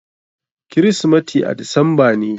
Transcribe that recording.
Kirismati a disamba ne.